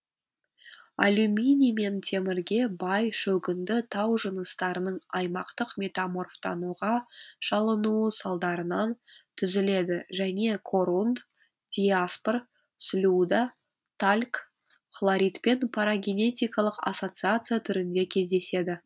алюминий мен темірге бай шөгінді тау жыныстарының аймақтық метаморфтануға шалынуы салдарынан түзіледі және корунд диаспор слюда тальк хлоритпен парагенетикалық ассоциация түрінде кездеседі